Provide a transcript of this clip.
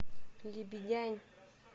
лебедянь